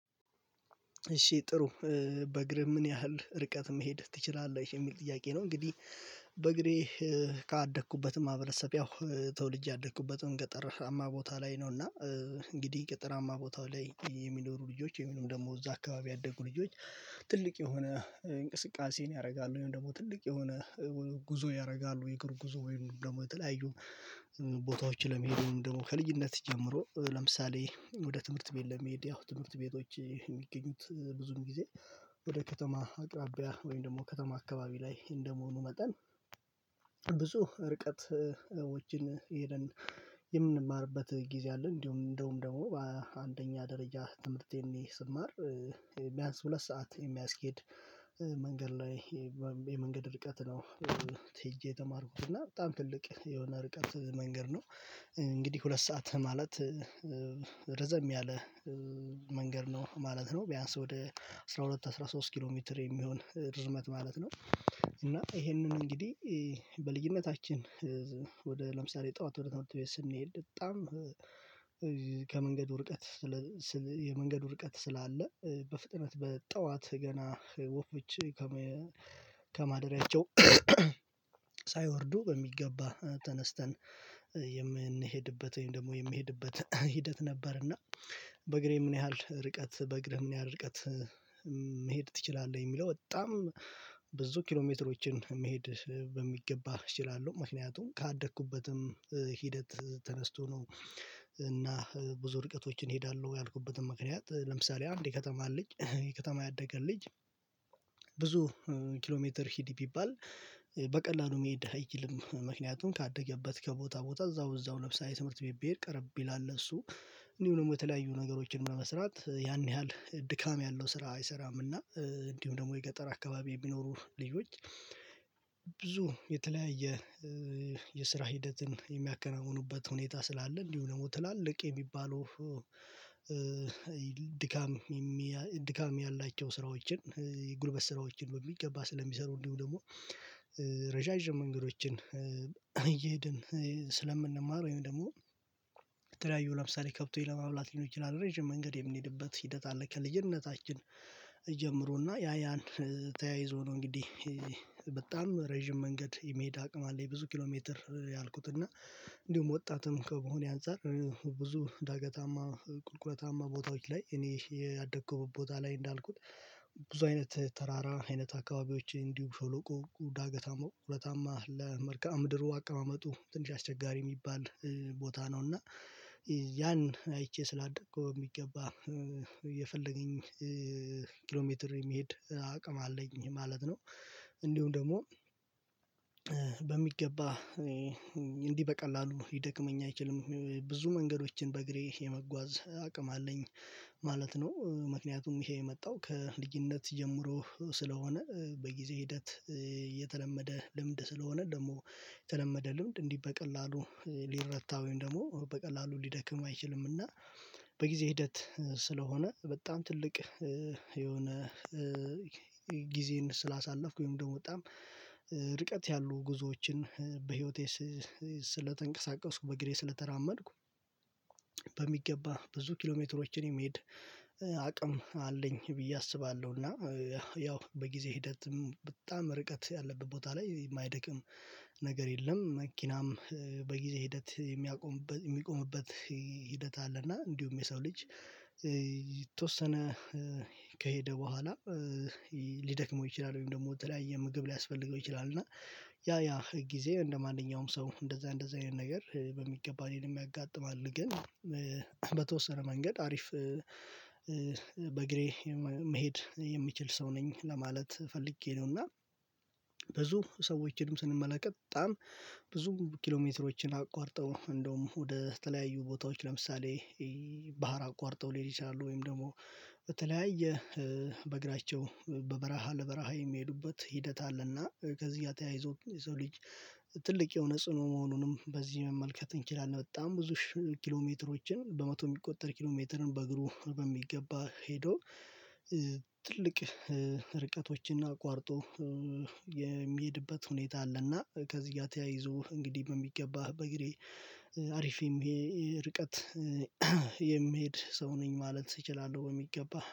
እሺ ጥሩ በእግህ ምን ያህል ርቀት መሄድ ትችላለህ የሚል ጥያቄ ነው። እንግዲህ በእግሬ ከአደኩበትም ማህበረሰብ ያው ተወልጄ ያደኩበትም ገጠርሀማ ቦታ ላይ ነው። እና እንግዲህ ገጠራማ ቦታ ላይ የሚኖሩ ልጆች እንዲሁም ደግሞ እዛ አካባቢ ያደጉ ልጆች ትልቅ የሆነ እንቅስቃሴን ያደርጋሉ። ወይም ደግሞ ትልቅ የሆነ ጉዞ ያደርጋሉ የእግር ጉዞ ወይም ደግሞ የተለያዩ ቦታዎችን ለመሄድ ደግሞ ከልጅነት ጀምሮ ለምሳሌ ወደ ትምህርት ቤት ለመሄድ ያው ትምህርት ቤቶች የሚገኙት ብዙም ጊዜ ወደ ከተማ አቅራቢያ ወይም ደግሞ ከተማ አካባቢ ላይ እንደመሆኑ መጠን ብዙ ርቀቶችን ሄደን የምንማርበት ጊዜ አለ። እንዲሁ እንደውም ደግሞ በአንደኛ ደረጃ ትምህርቴን ስማር ቢያንስ ሁለት ሰዓት የሚያስኬድ መንገድ ላይ የመንገድ ርቀት ነው። ትይዤ የተማርኩት እና በጣም ትልቅ የሆነ ርቀት መንገድ ነው። እንግዲህ ሁለት ሰዓት ማለት ረዘም ያለ መንገድ ነው ማለት ነው። ቢያንስ ወደ አስራ ሁለት አስራ ሶስት ኪሎ ሜትር የሚሆን ርዝመት ማለት ነው። እና ይሄንን እንግዲህ በልዩነታችን ወደ ለምሳሌ ጠዋት ወደ ትምህርት ቤት ስንሄድ በጣም ከመንገዱ ርቀት የመንገዱ ርቀት ስላለ በፍጥነት በጠዋት ገና ወፎች ከማደሪያቸው ሳይወርዱ በሚገባ ተነስተን ወይም ደግሞ የምንሄድበት ሂደት ነበርና። በእግሬ ምን ያህል ርቀት በእግርህ ምን ያህል ርቀት መሄድ ትችላለህ? የሚለው በጣም ብዙ ኪሎ ሜትሮችን መሄድ በሚገባ እችላለሁ ምክንያቱም ካደኩበትም ሂደት ተነስቶ ነው። እና ብዙ ርቀቶችን እሄዳለሁ ያልኩበትን ምክንያት ለምሳሌ አንድ የከተማ ልጅ የከተማ ያደገ ልጅ። ብዙ ኪሎ ሜትር ሂድ ቢባል በቀላሉ መሄድ አይችልም። ምክንያቱም ካደገበት ከቦታ ቦታ እዛው እዛው ለምሳሌ ትምህርት ቤት ቀረብ ይላል ለእሱ እንዲሁም የተለያዩ ነገሮችን ለመስራት ያን ያህል ድካም ያለው ስራ አይሰራም። እና እንዲሁም ደግሞ የገጠር አካባቢ የሚኖሩ ልጆች ብዙ የተለያየ የስራ ሂደትን የሚያከናውኑበት ሁኔታ ስላለ እንዲሁ ደግሞ ትላልቅ የሚባለው ድካም ያላቸው ስራዎችን ጉልበት ስራዎችን በሚገባ ስለሚሰሩ እንዲሁ ደግሞ ረዣዥም መንገዶችን እየሄድን ስለምንማር ወይም ደግሞ የተለያዩ ለምሳሌ ከብቶች ለማብላት ሊሆን ይችላል ረጅም መንገድ የምንሄድበት ሂደት አለ። ከልጅነታችን ጀምሮ እና ያ ያን ተያይዞ ነው እንግዲህ በጣም ረጅም መንገድ የሚሄድ አቅም አለ። ብዙ ኪሎ ሜትር ያልኩት እና እንዲሁም ወጣትም ከመሆኔ አንፃር ብዙ ዳገታማ ቁልቁለታማ ቦታዎች ላይ እኔ ያደገኩበት ቦታ ላይ እንዳልኩት ብዙ አይነት ተራራ አይነት አካባቢዎች እንዲሁ ሸሎቆ ዳገታማ ሁለታማ ለመርካም ድሩ አቀማመጡ ትንሽ አስቸጋሪ የሚባል ቦታ ነው። እና ያን አይቼ ስላደኩ በሚገባ የፈለገኝ ሜትር የመሄድ አቅም አለኝ ማለት ነው። እንዲሁም ደግሞ በሚገባ እንዲህ በቀላሉ ሊደክመኝ አይችልም ብዙ መንገዶችን በእግሬ የመጓዝ አቅም አለኝ ማለት ነው። ምክንያቱም ይሄ የመጣው ከልጅነት ጀምሮ ስለሆነ በጊዜ ሂደት የተለመደ ልምድ ስለሆነ ደግሞ የተለመደ ልምድ እንዲህ በቀላሉ ሊረታ ወይም ደግሞ በቀላሉ ሊደክም አይችልምና። በጊዜ ሂደት ስለሆነ በጣም ትልቅ የሆነ ጊዜን ስላሳለፍኩኝ ደግሞ በጣም ርቀት ያሉ ጉዞዎችን በህይወቴ ስለተንቀሳቀስኩ በእግሬ ስለተራመድኩ በሚገባ ብዙ ኪሎሜትሮችን የመሄድ አቅም አለኝ። ብዬ አስባለሁ እና ያው በጊዜ ሂደትም በጣም ርቀት ያለበት ቦታ ላይ የማይደክም ነገር የለም። መኪናም በጊዜ ሂደት የሚያቆምበት የሚቆምበት ሂደት አለ። እና እንዲሁም የሰው ልጅ የተወሰነ ከሄደ በኋላ ሊደክመው ይችላል ወይም ደግሞ በተለያየ ምግብ ሊያስፈልገው ይችላል። እና ያ ያ ህግ ጊዜ እንደማንኛውም ሰው እንደዛ እንደዛ አይነት ነገር በሚገባ እኔንም ያጋጥማል። ግን በተወሰነ መንገድ አሪፍ በእግሬ መሄድ የምችል ሰው ነኝ። ለማለት ፈልጌ ነውና እና ብዙ ሰዎችንም ስንመለከት በጣም ብዙ ኪሎ ሜትሮችን አቋርጠው እንደውም ወደ ተለያዩ ቦታዎች ለምሳሌ ባህር አቋርጠው ሊሄድ ይችላሉ። ወይም ደግሞ በተለያየ በእግራቸው በበረሃ ለበረሃ የሚሄዱበት ሂደት አለና ከዚህ ተያይዞ የሰው ልጅ ትልቅ የሆነ ጽኑ መሆኑንም በዚህ መመልከት እንችላለን። በጣም ብዙ ኪሎ ሽህ ሜትሮችን በመቶ የሚቆጠር ኪሎ ሜትርን በእግሩ በሚገባ ሄዶ ትልቅ ርቀቶችን እና አቋርጦ የሚሄድበት ሁኔታ አለና። ከዚህ ጋር ተያይዞ እንግዲህ በሚገባህ በእግሬ አሪፍ ይሄ ርቀት የምሄድ ሰው ነኝ ማለት እችላለሁ በሚገባ